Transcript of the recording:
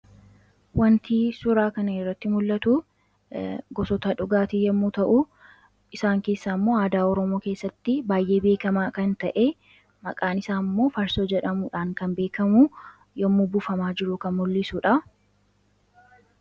Wantii suuraa kana irratti mul'atuu gosoota dhugaatii yommuu ta'u, isaan keessaammoo aadaa oromoo keesaatti baayyee beekamaa kan ta'e maqaan isaammoo farsoo jedhamuudhaan kan beekkamu yommuu buufamaa jiru kan mul'isudha.